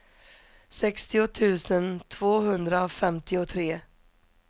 sextio tusen tvåhundrafemtiotre